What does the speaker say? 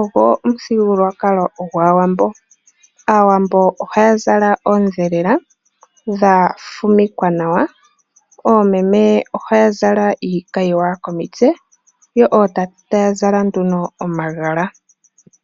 ogo omuthigululwakalo gwAawambo. Aawambo ohaya zala oondhelela dha fumikwa nawa, oomeme ohaya zala iikayiwa komitse, yo ootate taya zala nduno omagala.